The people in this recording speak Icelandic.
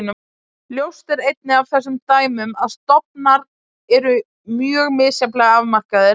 Ljóst er einnig af þessum dæmum að stofnar eru mjög misjafnlega afmarkaðir.